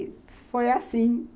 E foi assim.